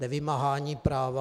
Nevymáhání práva.